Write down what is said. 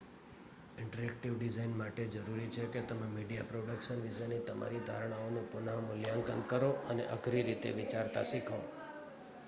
interactive design માટે જરૂરી છે કે તમે મીડિયા પ્રોડક્શન વિશેની તમારી ધારણાઓનું પુનઃ મૂલ્યાંકન કરો અને અઘરી રીતે વિચારતા શીખો